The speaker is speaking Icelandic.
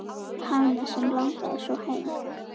Hana sem langaði svo heim.